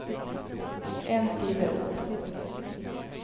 En side opp